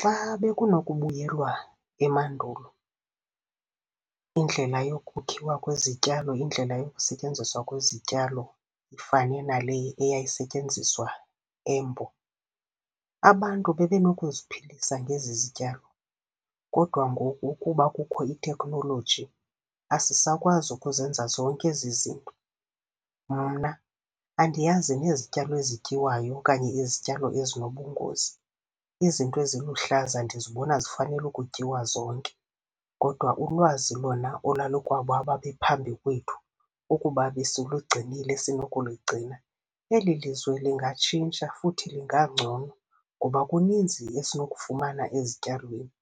Xa bekunokubuyelwa emandulo indlela yokukhiwa kwezityalo, indlela yokusetyenziswa kwezityalo ifane nale eyayisetyenziswa embo, abantu bebe nokuziphilisa ngezi zityalo, kodwa ngoku kuba kukho iteknoloji asisakwazi ukuzenza zonke ezi zinto. Mna andiyazi nezityalo ezityiwayo okanye izityalo ezinobungozi, izinto eziluhlaza ndizibona zifanele ukutyiwa zonke. Kodwa ulwazi lona olwalu kwabo ababephambi kwethu ukuba besilugcinile, sinokuligcina, eli lizwe lingatshintsha futhi lingangcono, ngoba kuninzi esinokufumana ezityalweni,